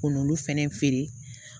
K'olu fɛnɛ feere